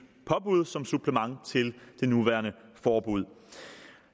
påbud som supplement til det nuværende forbud